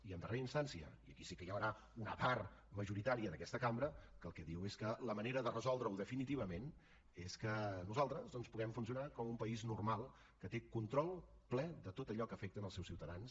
i en darrera instància i aquí sí que hi haurà una part majoritària d’aquesta cambra que el que diu és que la manera de resoldre ho definitivament és que nosaltres doncs puguem funcionar com un país normal que té control ple de tot allò que afecta els seus ciutadans